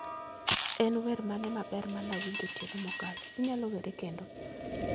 En wer mane maber ma nawinjo otieno mokalo? Inyalo were kendo?